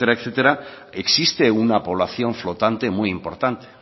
existe una población flotante muy importante